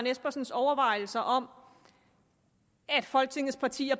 espersens overvejelser om at folketingets partier